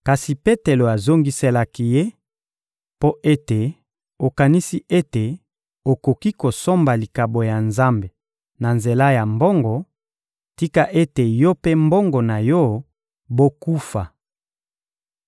Kasi Petelo azongiselaki ye: — Mpo ete okanisi ete okoki kosomba likabo ya Nzambe na nzela ya mbongo, tika ete yo mpe mbongo na yo bokufa!